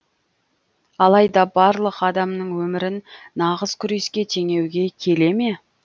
алайда барлық адамның өмірін нағыз күреске теңеуге келе ме